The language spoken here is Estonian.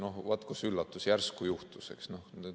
Vaat kus üllatus, järsku juhtus, eks!